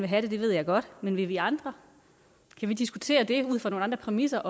have det det ved jeg godt men vil vi andre kan vi diskutere det ud fra nogle andre præmisser